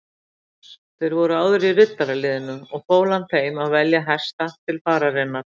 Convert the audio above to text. Þeir voru áður í riddaraliðinu og fól hann þeim að velja hesta til fararinnar.